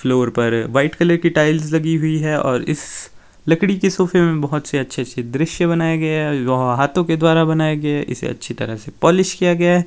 Floor पर white colour की tiles लगी हुई है और इस लकड़ी की सोफे में बहुत से अच्छे अच्छे दृश्य बनाया गया है जो हाथों के द्वारा बनाया गया है इसे अच्छी तरह से पालिश किया गया है।